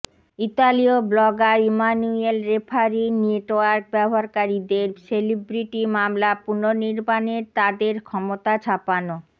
ইতালীয় blogger Emanuele Ferrari network ব্যবহারকারীদের celebrity মামলা পুনর্নির্মাণের তাদের ক্ষমতা ছাপানো